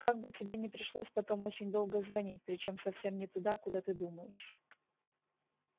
как бы тебе не пришлось потом очень долго звонить причём совсем не туда куда ты думаешь